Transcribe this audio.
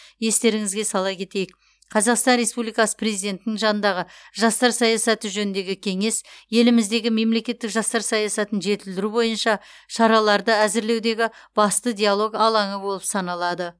естеріңізге сала кетейік қазақстан республикасы президентінің жанындағы жастар саясаты жөніндегі кеңес еліміздегі мемлекеттік жастар саясатын жетілдіру бойынша шараларды әзірлеудегі басты диалог алаңы болып саналады